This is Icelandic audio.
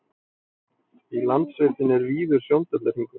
í landsveitinni er víður sjóndeildarhringur